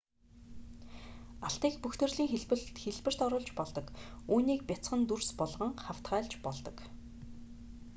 алтыг бүх төрлийн хэлбэрт оруулж болдог үүнийг бяцхан дүрс болгон хавтгайлж болдог